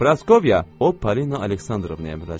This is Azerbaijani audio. Praskovya Opolina Aleksandrovnaya müraciət elədi.